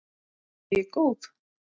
Er ég góð?